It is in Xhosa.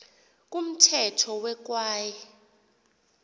kumthetho we kwaye